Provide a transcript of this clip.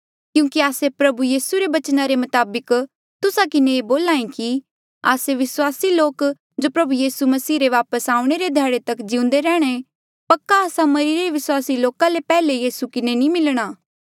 क्यूंकि आस्से प्रभु यीसू रे बचना रे मताबक तुस्सा किन्हें ये बोल्हा ऐें कि आस्से विस्वासी लोक जो प्रभु यीसू मसीह रे वापस आऊणें रे ध्याड़े तक जिउंदे रैंह्णां पक्का आस्सा मरिरे विस्वासी लोका ले पैहले यीसू किन्हें नी मिलणा